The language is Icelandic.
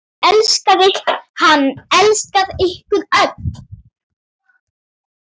Hann elskaði ykkur öll.